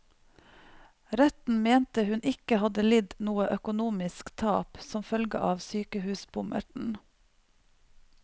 Retten mente hun ikke hadde lidd noe økonomisk tap som følge av sykehusbommerten.